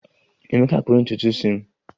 Emeka kpụrụ ntutu isi m